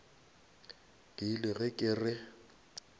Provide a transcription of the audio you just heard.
ke ile ge ke re